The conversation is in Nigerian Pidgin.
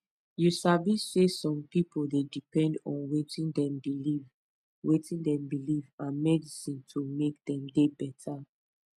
you sabi saysome pipu dey depend on wetin dem believe wetin dem believe and medicine to make dem dey beta